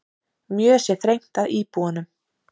Mjög sé þrengt að íbúunum.